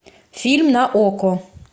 фильм на окко